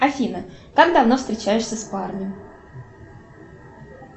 афина как давно встречаешься с парнем